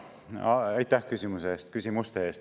Aitäh küsimuste eest!